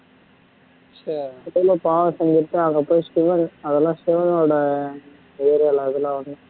சரி எதோ அதெல்லாம் சிவன் ஓட